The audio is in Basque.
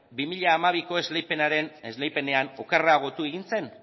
bi mila hamabiko esleipenean okerragotu egin zen